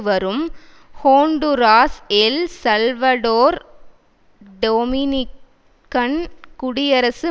வரும் Honduras El Salvador Dominican குடியரசு